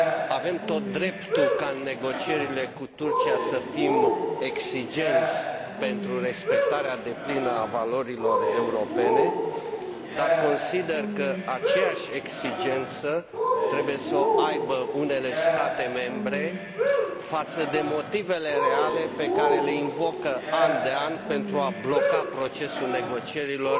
Avem tot dreptul ca în negocierile cu Turcia să fim exigenți pentru respectarea deplină a valorilor europene, dar consider că aceeași exigență trebuie să o aibă unele state membre față de motivele reale pe care le invocă an de an pentru a bloca procesul negocierilor